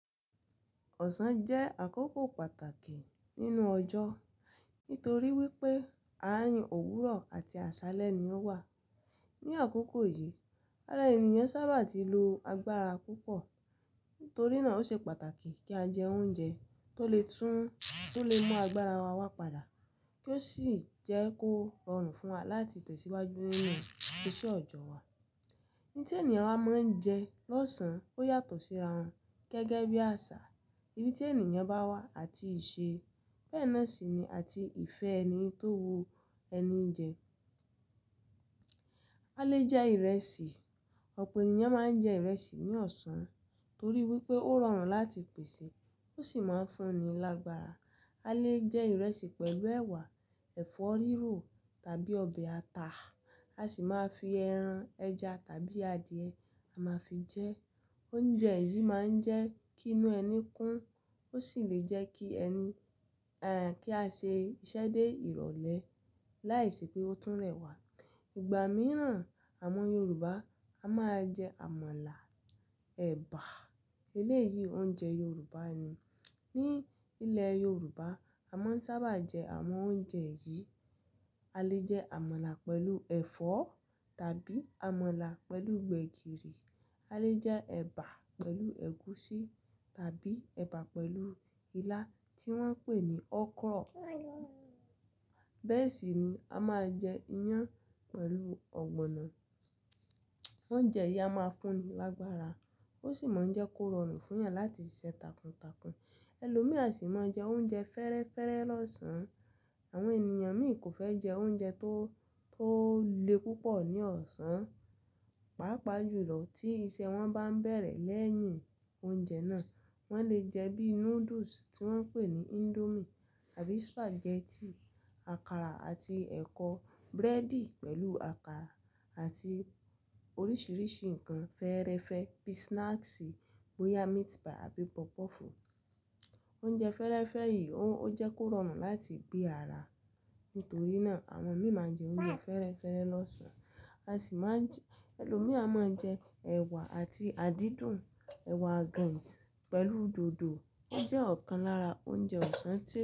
Ọ̀sán jẹ́ àkókò pàtàkì nínú ọjọ́, nítorí wípé àárín òwúrọ̀ àti àṣálẹ́ ni ó wà. Ni àkókò yìí, ara ènìyàn sábà ti lo agbára púpọ̀, nítorí náà ó ṣe pàtàkì kí a jẹ oúnjẹ tó lè tún, tó lè mú agbára wa wá padà, kí ó sì jẹ́ kó rọrùn fún wa láti tẹ̀síwájú nínú iṣẹ́ ọ̀jọ̀ wa. Ohun tí ènìyàn wa máa ń jẹ lọ́sàn ó yàtọ̀ síra wọn gẹ́gẹ́ bí àṣà ibi tí ènìyàn bá wà àti ìṣe. Bẹ́ẹ̀ náà sì ni àti ìfẹ́ ẹni tó wu ẹni jẹ. A lè jẹ ìrẹsì, ọ̀pọ̀ ènìyàn máa ń jẹ ìrẹsì ní ọ̀sán torí wípé ó rọrùn láti pèsè, ó sì máa ń fún ni lágbára. A lè jẹ ìrẹsì pẹ̀lú ẹ̀wà, ẹ̀fọ́ rírò tàbí ọbẹ̀ ata. A sì máa fi ẹran, ẹja tàbí adìẹ, a máa fi jẹ. Oúnjẹ yìí máa ń jẹ́ kí inú ẹni kún, ó sì lè jẹ́ kí ẹni, eh, kí a ṣe iṣẹ́ dé ìrọ̀lẹ́ láìṣe pé ó tún rẹ̀ wá. Ìgbà mìíràn àwọn Yorùbá a máa jẹ àmàlà, ẹ̀bà. Eléyìí oúnjẹ Yorùbá ni. Ní ilẹ̀ Yorùbá a máa ń sábà jẹ àwọn oúnjẹ yìí. A lè jẹ àmàlà pẹ̀lú ẹ̀fọ́ tàbí àmàlà pẹ̀lú gbẹ̀gìrì. A lè jẹ ẹ̀bà pẹ̀lú ẹ̀gúsí tàbí ẹ̀bà pẹ̀lú ilá tí wọ́n pè ní ọkrọ̀. Bẹ́ẹ̀ sì ni a máa jẹ iyán pẹ̀lú ọ̀gbọ̀nọ̀. Oúnjẹ yìí a máa fún ni lágbára, ó ṣì máa ń jẹ́ kó rọrùn fún eyàn láti ṣiṣẹ́ takuntakun. Ẹlòmíì a sì máa ń jẹ oúnjẹ fẹ́rẹ́fẹ́rẹ̀ lọ́sàn. Àwọn ènìyàn míì kò fẹ́ jẹ oúnjẹ tó, tó le púpọ̀ ní ọ̀sán, pàápàá jùlọ tí iṣẹ́ wọn bá ń bẹ̀rẹ̀ lẹ́yìn oúnjẹ náà. Wọ́n lè jẹ bíi noodles tí wọ́n ń pè ní indomie tàbí spaghetti, àkàrà àti ẹ̀kọ, búrẹ́dì pẹ̀lú àkàrà àti oríṣiríṣi nǹkan fẹ́ẹ́rẹ́fẹ́ bíi snacks, bóyá meat pie tàbí puff puff. Oúnjẹ fẹ́ẹ́rẹ́fẹ́ yìí ó jẹ́ kó rọrùn láti gbé ara. Nítorí náà àwọn míì máa ń jẹ oúnjẹ fẹ́rẹ́fẹ́re lọ́sàn. A sì máa ń, ẹlòmíì a máa ń jẹ ẹ̀wà àti àdídùn ẹ̀wà àgànyìn pẹ̀lú dòdò. Ó jẹ́ ọ̀kan lára oúnjẹ ọ̀sán tí,